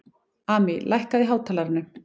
Amý, lækkaðu í hátalaranum.